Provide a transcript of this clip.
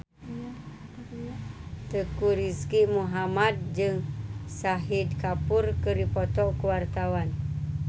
Teuku Rizky Muhammad jeung Shahid Kapoor keur dipoto ku wartawan